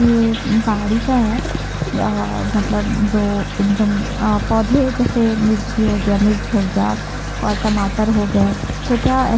ये बाड़ी का हैं अ मतलब जो उम्म पौधे हैं जैसे मिर्ची हो गया मिर्च हो गया और टमाटर हो गए तो क्या--